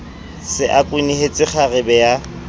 se a kwenehetse kgarebe ya